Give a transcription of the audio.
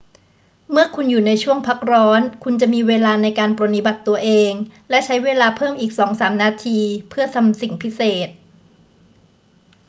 เมื่อคุณอยู่ในช่วงพักร้อน คุณจะมีเวลาในการปรนนิบัติตัวเอง และใช้เวลาเพิ่มอีกสองสามนาทีเพื่อทำสิ่งพิเศษ